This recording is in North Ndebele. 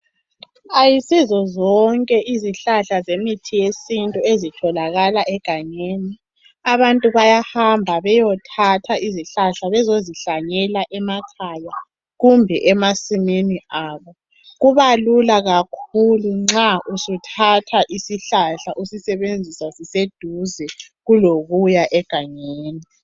Ayisizo zonke izihlahla zemithi yesintu ezitholakala egangeni. Abantu bayahamba beyothatha izihlahla bezozihlanyela emakhaya kumbe emasimini abo. Kubalula kakhulu nxa usuthatha isihlahla usisebenza siseduze kulokuya egangeni.